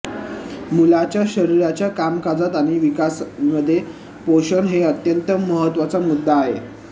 मुलाच्या शरीराच्या कामकाजात आणि विकासामध्ये पोषण हे एक अत्यंत महत्वाचा मुद्दा आहे